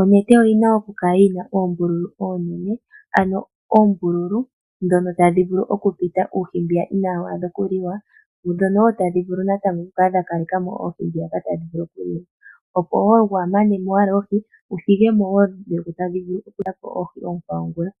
onete oyi na okukala yi na oombululu oonene, ano oombulu ndhono tadhi vulu okupita uuhi mbwiya inawu adha okuliwa dho wo tadhi vulu okukala dha kaleka mo oohi ndhoka tadhi vulu okuliwa, opo wo waa mane mo oohi wu thige mo wo dhimwe ndhi tadhi vulu oku eta po oohi oonkwawo ngula.